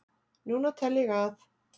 Núna tel ég að